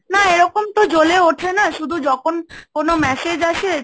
না এরকম তো জ্বলে ওঠে না, শুধু যখন কোন massage আসে,